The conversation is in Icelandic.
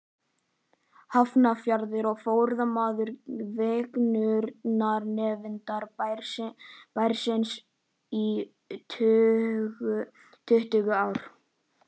Hafnarfjarðar og formaður fegrunarnefndar bæjarins í tuttugu ár.